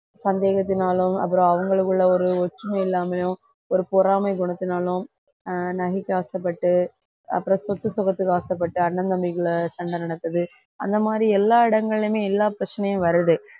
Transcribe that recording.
சந்தேகத்தினாலும் அப்புறம் அவங்களுக்குள்ள ஒரு ஒற்றுமை இல்லாமயும் ஒரு பொறாமை குணத்தினாலும் ஆஹ் நகைக்கு ஆசைப்பட்டு அப்புறம் சொத்து சுகத்துக்கு ஆசைப்பட்டு அண்ணன் தம்பிக்குள்ள சண்டை நடக்குது அந்த மாதிரி எல்லா இடங்களிலுமே எல்லா பிரச்சனையும் வருது